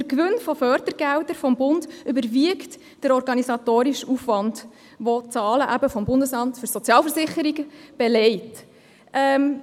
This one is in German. Denn der Gewinn an Fördergeldern des Bundes überwiegt den organisatorischen Aufwand, wie die Zahlen des BSV belegen.